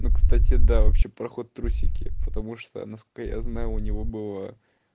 ну кстати да вообще проход в трусики потому что насколько я знаю у него было